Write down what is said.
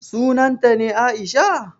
Sunanta ne Aisha?